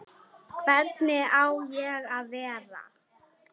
Hvernig á ég að vera?